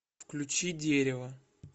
включи дерево